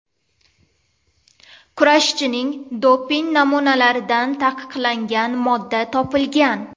Kurashchining doping namunalaridan taqiqlangan modda topilgan.